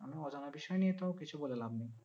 অজানা বিষয় নিয়ে তো কিছু বলে লাভ নেই।